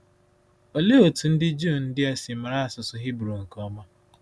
Ọlee otú ndị Juu ndị a si mara asụsụ Hibru nke ọma?